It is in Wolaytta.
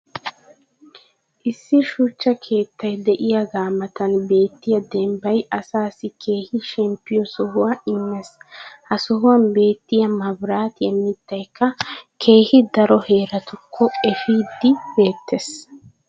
issi shuchcha keettay diyaagaa matan beettiya dembbay asaassi keehi shemppiyo sohuwa immees. ha sohuwan beetiya mabiraattiya mitaykka keehi daro heeratukko efiidi beetees.